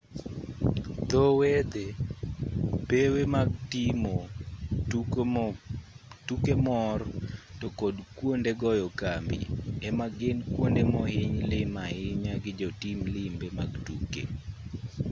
dho wedhe pewe mag timo tuke mor to kod kuonde goyo kambi ema gin kwonde mohiny lim ahinya gi jotim limbe mag tuke